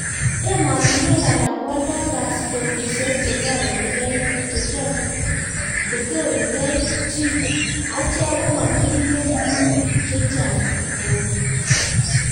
Emotinwek alak koaldai paspotisiek chetorekei chii ,acheek komakitinyee guun chechang koo